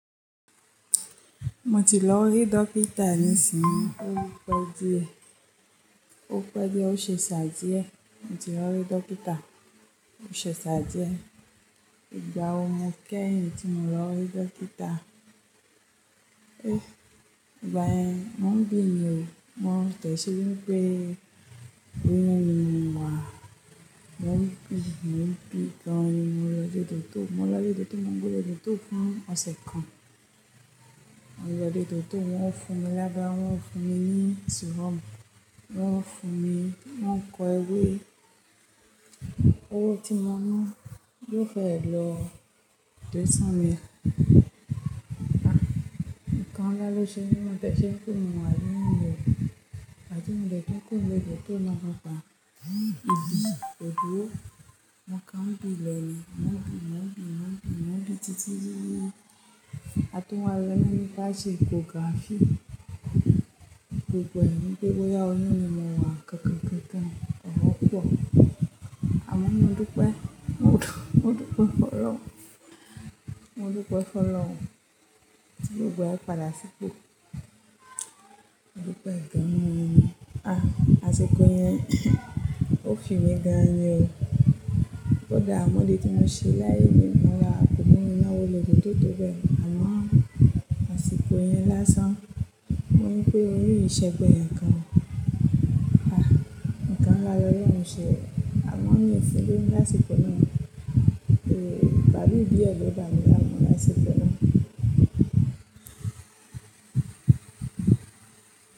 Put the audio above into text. Mo ti lọ rí dókítà nísìnyí. Ó pẹ́ díẹ̀. Ó pẹ́ díẹ̀, ó ṣẹ̀ sá díẹ̀. Mo ti lọ rí dókítà. Ó ṣẹ̀ṣẹ̀ sá díẹ̀. Ìgbà wo mo kẹ̀yin tí mo lọ rí dókítà. Ìgbà yẹ̀n, mo ń gbé yewo. Mo dẹ̀ se wípé oyún ni mọ́ wa. Mo ń bi, mo ń bi gan an ni mo lọ dé tò, mo lọ dé tò, mo ń gbé lọ tò fún ọ̀sẹ̀ kan. Mo lọ dé tò, wọ́n fún mi lábẹ́rẹ́, wọ́n fún mi ní syrup. Wọ́n fún mi, wọ́n kọ̀ ẹ́we, "Owó tí mo ná, yóò fẹ́ ẹ lọ desire". Ah! Ǹkan la lọ ṣe ní mi bí mo ti ẹ ṣe ń kúrò ní ibi tí mo wà yì inú mi ò dùn. A ti mú mi dé tòtò, kó mi lọ tòtò lọ́la pa. Ògbò, mo kan ń bi ló ni mo ń bi mo ń bi mo ń bi títí ti ìgbà tí mo ma lájú ni mo bá ń ṣe échography. Gbogbo èrò mi wípé bóyá oyún ni mo wà kankan, kankan, ó wọ́pọ̀. Àmọ́ mo dúpẹ́, mo dúpẹ́ fún Ọlọ́run. Mo dúpẹ́ fún Ọlọ́run. Tí gbogbo ẹ padà sípò. Mo dúpẹ́ gan-an ni ah! Àsìkò yẹn, ó fi mi gan-an ni o. Ọ̀gá ọmọdé tí mo ṣẹ́ láìní kan náà kò mọ̀ mi náà wọlé tòtò bẹ́ẹ̀. Àmọ́ àsìkò yẹn lásán, mo wípé oyún kìí ṣe ẹ̀gbẹ́ ẹnikan. Ah! Ǹkan la ní Ọlọ́run ṣe o àmọ́ mo ní ṣé ló ń dá àsìkò náà. Eh! Bàbá òbí ẹ ló dá mi láàmú lásìkò náà.